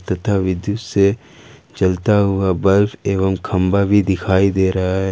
इधर विद्युत से जलता हुआ बल्ब एवं खंभा भी दिखाई दे रहा है।